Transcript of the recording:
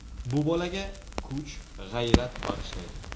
Bu bolaga kuch, g‘ayrat bag‘ishlaydi.